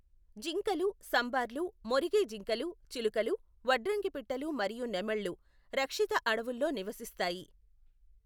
జింకలు, సంబార్లు, మొరిగే జింకలు, చిలుకలు, వడ్రంగిపిట్టలు మరియు నెమళ్ళు రక్షిత అడవుల్లో నివసిస్తాయి.